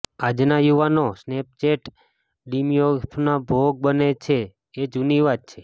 આજના યુવાનો સ્નેપચેટ ડિસર્મોિફયાનો ભોગ બને છે એ જૂની વાત છે